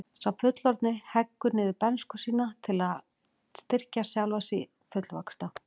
Sá fullorðni heggur niður bernsku sína til að styrkja sjálfan sig fullvaxta.